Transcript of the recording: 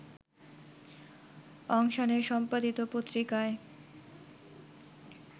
অং সানের সম্পাদিত পত্রিকায়